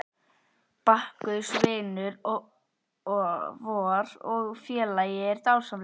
Bakkus vinur vor og félagi er dásamlegur.